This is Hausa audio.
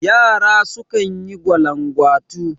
Yara sukan yi gwalangwatu